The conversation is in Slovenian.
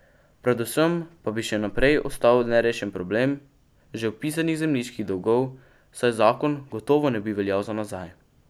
Predvsem pa bi še naprej ostal nerešen problem že vpisanih zemljiških dolgov, saj zakon gotovo ne bi veljal za nazaj.